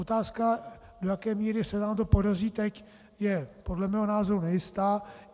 Otázka, do jaké míry se nám to podaří teď, je podle mého názoru nejistá.